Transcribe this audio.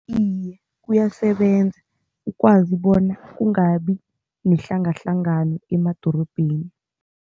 Iye, kuyasebenza. Ukwazi bona kungabi nehlangahlangano emadorobheni.